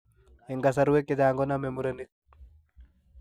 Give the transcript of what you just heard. En kasarwek chechang' konome murenik